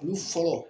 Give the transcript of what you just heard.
Olu fɔlɔ